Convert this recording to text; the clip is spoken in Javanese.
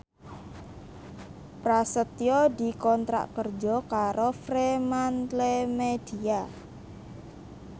Prasetyo dikontrak kerja karo Fremantlemedia